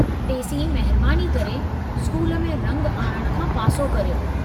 तेसीं महिरबानी करे स्कूल में रंग आणणु खां पासो करियो।